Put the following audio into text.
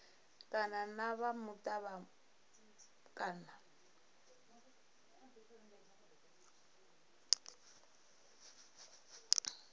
kana na vha muta kana